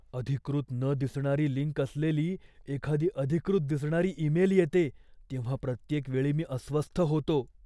अधिकृत न दिसणारी लिंक असलेली एखादी अधिकृत दिसणारी ईमेल येते तेव्हा प्रत्येक वेळी मी अस्वस्थ होतो.